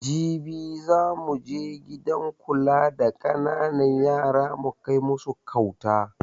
Jibi zamu je gidan kula da ƙananan yara mu kai masu kauta